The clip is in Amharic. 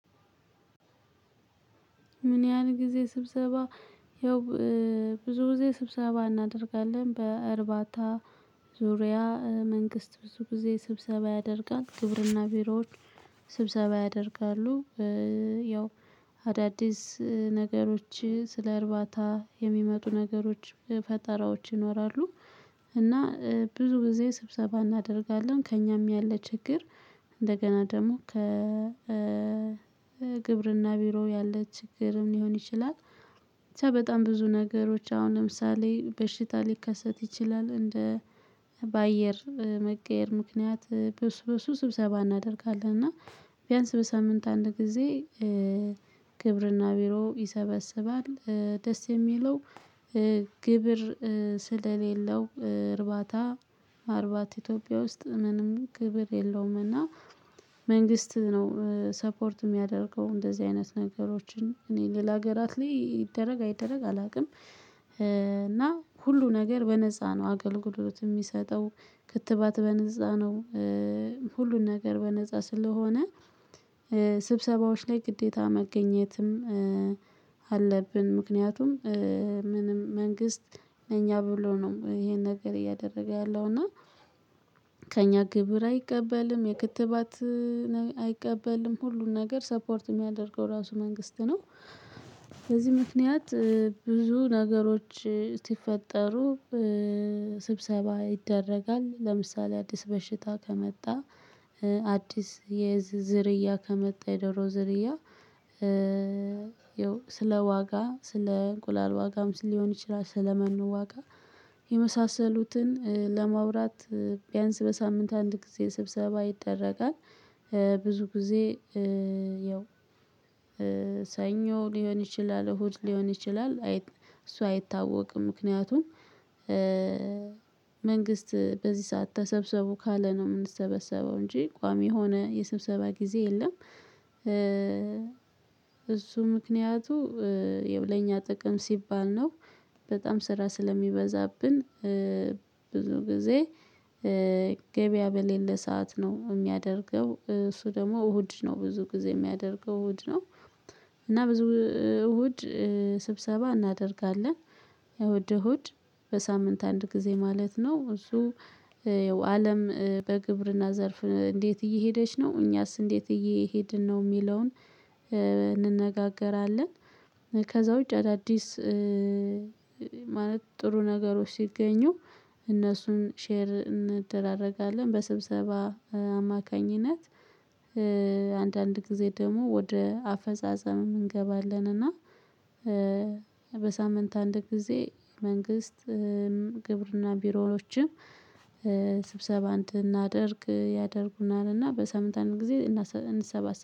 ምን? ያህል ጊዜ ስብሰባ ያው ብዙ ጊዜ ስብሰባ እናደርጋለን። በእርባታ ዙሪያ መንግስት ብዙ ጊዜ ስብሰባ ያደርጋል ግብርና ቢሮዎች ስብሰባ ያደርጋሉ። ያው አዳዲስ ነገሮች ስለ እርባታ የሚመጡ ነገሮች ፈጠራዎች ይኖራሉ። እና ብዙ ጊዜ ስብሰባ እናደርጋለን ከእኛም ያለ ችግር። እንደገና ደግሞ ከ ግብርና ቢሮ ያለ ችግርም ሊሆን ይችላል። በጣም ብዙ ነገሮች አሁን ለምሳሌ በሽታ ሊከሰት ይችላል እንደ በአየር መቀየር ምክንያት በሱ በሱ ስብሰባ እናደርጋለን። እና ቢያንስ በሳምንት አንድ ጊዜ ግብርና ቢሮ ይሰበስባል ደስ የሚለው። ግብር ስለሌለው እርባታ ማርባት ኢትዮጵያ ውስጥ ምንም ግብር የለውም። እና መንግስት ነው ሰፖርት የሚያደርገው እንደዚህ አይነት ነገሮችን እኔ ሌላ ሀገራት ላይ ይደረግ አይደረግ አላውቅም። እና ሁሉ ነገር በነፃ ነው አገልግሎት የሚሰጠው። ክትባት በነፃ ነው። ሁሉን ነገር በነፃ ስለሆነ ስብሰባዎች ላይ ግዴታ መገኘትም አለብን። ምክንያቱም ምንም መንግስት ለእኛ ብሎ ነው ይሄን ነገር እያደረገ ያለው እና ከእኛ ግብር አይቀበልም። የክትባት አይቀበልም ሁሉን ነገር ሰፖርት የሚያደርገው ራሱ መንግስት ነው። በዚህ ምክንያት ብዙ ነገሮች ሲፈጠሩ ስብሰባ ይደረጋል። ለምሳሌ አዲስ በሽታ ከመጣ አዲስ የዝ ዝርያ ከመጣ የደሮ ዝርያ። ያው ስለ ዋጋ ስለ እንቁላል ዋጋም ስ ሊሆን ይችላል ስለመኖ ዋጋ የመሳሰሉትን ለማውራት ቢያንስ በሳምንት አንድ ጊዜ ስብሰባ ይደረጋል። ብዙ ጊዜ ያው ሰኞ ሊሆን ይችላል እሁድ ሊሆን ይችላል አይ እሱ አይታወቅም። ምክንያቱም መንግስት በዚህ ሰዓት ተሰብስቡ ካለ ነው የምንሰበሰበው እንጂ ቋሚ የሆነ የሰብሰባ ጊዜ የለም። እሱ ምክንያቱ ያው ለኛ ጥቅም ሲባል ነው። በጣም ስራ ስለሚበዛብን ብዙ ጊዜ ገበያ በሌለ ሰዓት ነው የሚያደርገው። እሱ ደግሞ እሁድ ነው ብዙ ጊዜ የሚያደርገው እሁድ ነው። እና ብዙ እሁድ ስብሰባ እናደርጋለን እሁድ እሁድ በሳምንት አንድ ጊዜ ማለት ነው። እሱ ያው አለም በግብርና ዘርፍ እንዴት እየሄደች ነው? እኛስ እንዴት እየሄድን ነው የሚለውን እንነጋገራለን። ከዛ ውጪ አዳዲስ ማለት ጥሩ ነገሮች ሲገኙ እነሱን ሼር እንደራረጋለን በስብሰባ አማካኝነት። አንዳንድ ጊዜ ደግሞ ወደ አፈጻጸምም እንገባለን። እና በሳምንት አንድ ጊዜ መንግስት ግብርና ቢሮዎችም ስብሰባ እንድናደርግ ያደርጉናል እና በሳምንት ጊዜ እናሰእንሰባሰባለን